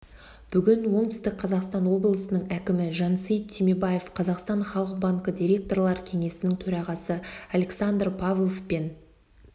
бүгін оңтүстік қазақстан облысының әкімі жансейіт түймебаев қазақстан халық банкі директорлар кеңесінің төрағасы александр павлов пен